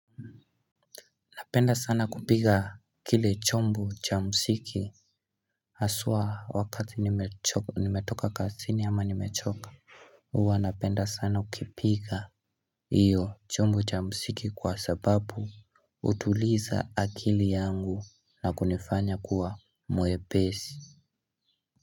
Napenda sana kupiga kile chombo cha muziki haswa wakati nimetoka kazini ama nimechoka. Huwa napenda sana ukipiga iyo chombo cha muziki kwa sababu hutuliza akili yangu na kunifanya kuwa mwepesi.